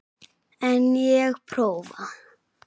En ég prófa.